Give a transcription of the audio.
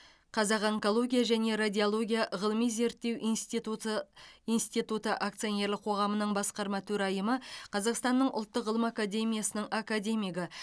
қазақ онкология және радиология ғылыми зерттеу институты институты акционерлік қоғамының басқарма төрайымы қазақстанның ұлттық ғылым академиясының академигі